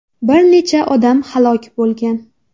Bir necha odam halok bo‘lgan.